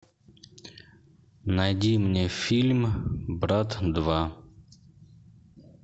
найди мне фильм брат два